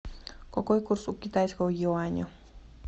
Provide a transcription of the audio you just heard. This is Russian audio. какой курс у китайского юаня